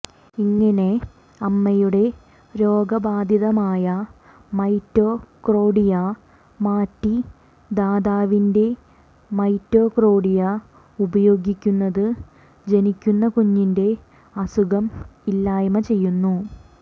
ഇങ്ങിനെ അമ്മയുടെ രോഗബാധിതമായ മൈറ്റോകോണ്ഡ്രിയ മാറ്റി ദാതാവിന്റെ മൈറ്റോകോണ്ഡ്രിയ ഉപയോഗിക്കുന്നത് ജനിക്കുന്ന കുഞ്ഞിന്റെ അസുഖം ഇല്ലായ്മ ചെയ്യുന്നു